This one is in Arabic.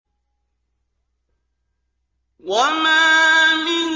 ۞ وَمَا مِن